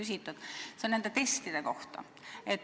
See on nende testide kohta.